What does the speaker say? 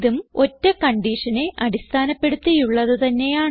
ഇതും ഒറ്റ കൺഡിഷനെ അടിസ്ഥാനപ്പെടുത്തിയുള്ളത് തന്നെയാണ്